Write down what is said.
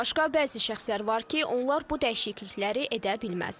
Bundan başqa bəzi şəxslər var ki, onlar bu dəyişiklikləri edə bilməz.